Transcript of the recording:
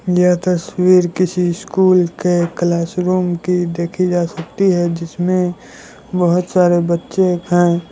यह तस्वीर किसी स्कूल के क्लासरूम के देखी जा सकती है जिसमे बहुत सारे बच्चे हैं।